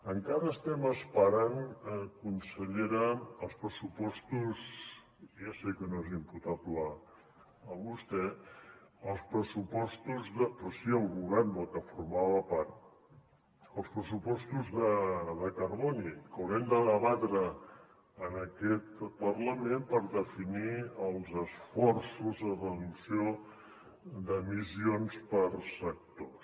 encara estem esperant consellera i ja sé que no és imputable a vostè però si al govern del que formava part els pressupostos de carboni que haurem de debatre en aquest parlament per definir els esforços de reducció d’emissions per sectors